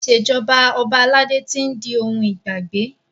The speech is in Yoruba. Ìṣèjọba ọba aládé ti ń òkun ìgbàgbé.